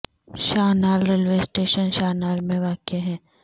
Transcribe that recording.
شاہ Nal railway station Shah Nal میں واقع ہے